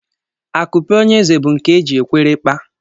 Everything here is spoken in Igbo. Akupe onye eze bụ nke e jiri ekwere kpaa